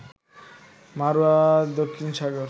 মাড়ুয়া দক্ষিণ সাগর